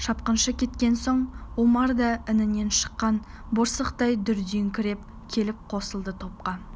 шапқыншы кеткен соң омар да інінен шыққан борсықтай дүрдиіңкіреп келіп қосылды топқа